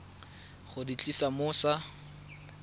go di tlisa mo sa